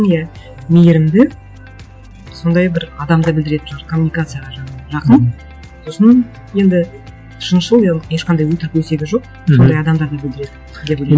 иә мейірімді сондай бір адамды білдіретін шығар коммуникацияға жақын сосын енді шыншыл и ол ешқандай өтірік өсегі жоқ мхм сондай адамдарды білдіреді деп ойлаймын